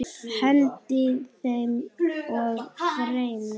Hendi þeim og brenni.